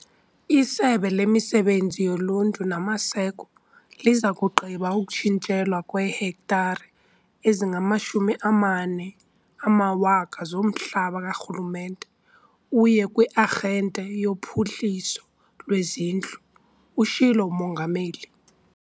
"ISebe leMisebenzi yoLuntu naMaseko liza kugqiba ukutshintshelwa kweehektare ezingama14 000 zomhlaba karhulumente uye kwi-Arhente yoPhuhliso lweZindlu," utshilo uMongameli.